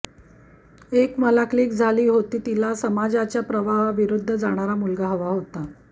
एक मला क्लिक झाली होती तिला समाजाच्या प्रवाहाविरुद्ध जाणारा मुलगा हवा होता